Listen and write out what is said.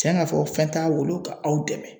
Tiɲɛ ka fɔ fɛn t'a bolo ka aw dɛmɛ